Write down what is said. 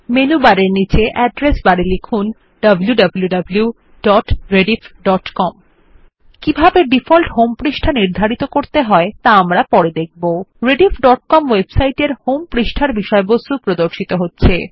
menu বারের নীচে address বারে লিখুন160 wwwrediffcom rediffকম ওয়েবসাইট এর হোম পেজ এর বিষয়বস্তু প্রদর্শিত হচ্ছে